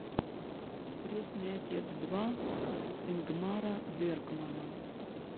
крестный отец два ингмара бергмана